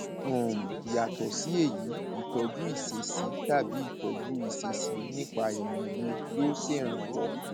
um yàtọ sí èyí ìtọjú ìṣesí tàbí ìtọjú ìṣesí nípa ìmòye yóò ṣèrànwọ